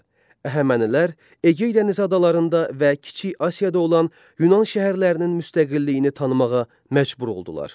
Əhəmənilər Egey dənizi adalarında və Kiçik Asiyada olan Yunan şəhərlərinin müstəqilliyini tanımağa məcbur oldular.